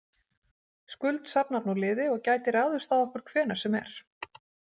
Skuld safnar nú liði og gæti ráðist á okkur hvenær sem er.